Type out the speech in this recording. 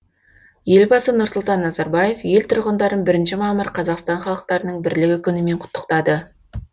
елбасы нұрсұлтан назарбаев ел тұрғындарын бірінші мамыр қазақстан халықтарының бірлігі күнімен құттықтады